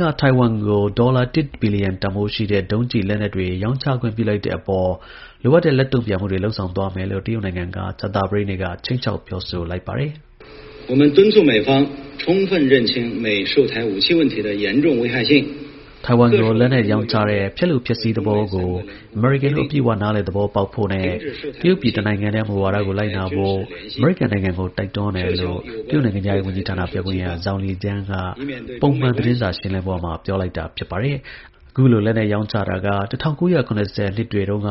က ထိုင်ဝမ်ကို ဒေါ်လာ ၁ ဘီလီယံတန်ဖိုးရှိတဲ့ ဒုံးကျည်လက်နက်တွေ ရောင်းချခွင့်ပြုလိုက်တဲ့အပေါ် လိုအပ်တဲ့ လက်တုံ့ပြန်မှုတွေကို လုပ်ဆောင်သွားမယ်လို့ တရုတ်နိုင်ငံက ကြာသပတေးနေ့က ခြိမ်းခြောက်ပြောဆိုလိုက်ပါတယ်။ ထိုင်ဝမ်ကို လက်နက်ရောင်းချတဲ့ ဖျက်လိုဖျက်ဆီး သဘောကို အမေရိကန်တို့ အပြည့်အဝ နားလည် သဘောပေါက်ဖို့နဲ့တရုတ်ပြည် တစ်နိုင်ငံတည်း မူဝါဒကို လိုက်နာဖို့ အမေရိကန်နိုင်ငံကို တိုက်တွန်းတယ်လို့ တရုတ် နိုင်ငံခြားရေးဝန်ကြီးဌာန ပြောခွင့်ရ Zhao Lijian က ပုံမှန်သတင်းစာရှင်းလင်းပွဲမှာ ပြောလိုက်တာပါ။ အခုလို လက်နက်ရောင်းချတာက ၁၉၇၀ နှစ်တွေတုန်းက